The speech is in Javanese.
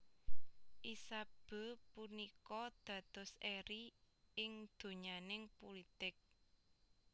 Isabeau punika dados eri ing donyaning pulitik